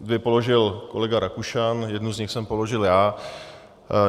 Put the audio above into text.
Dvě položil kolega Rakušan, jednu z nich jsem položil já.